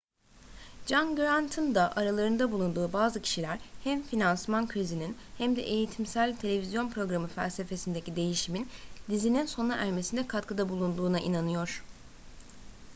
john grant'ın da aralarında bulunduğu bazı kişiler hem finansman krizinin hem de eğitimsel televizyon programı felsefesindeki değişimin dizininin sona ermesine katkıda bulunduğuna inanıyor